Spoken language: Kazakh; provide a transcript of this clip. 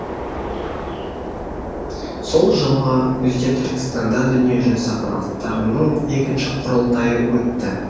сол жылғы күзде түркістанда дүниежүзі қазақтарының екінші құрылтайы өтті